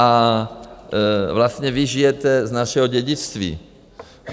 A vlastně vy žijete z našeho dědictví.